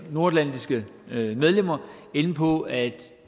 nordatlantiske medlemmer inde på at